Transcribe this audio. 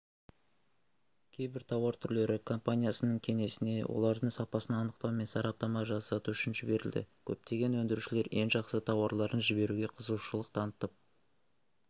кейбір тауар түрлері компаниясының кеңсесіне олардың сапасын анықтау мен сараптама жасату үшін жіберілді көптеген өндірушілер ең жақсы тауарларын жіберуге қызығушылық танытып